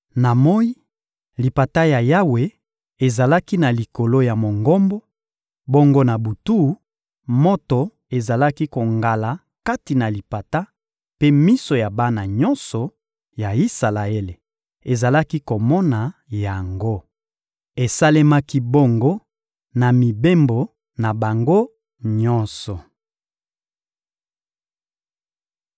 Na moyi, lipata ya Yawe ezalaki na likolo ya Mongombo; bongo na butu, moto ezalaki kongala kati na lipata, mpe miso ya bana nyonso ya Isalaele ezalaki komona yango. Esalemaki bongo na mibembo na bango nyonso.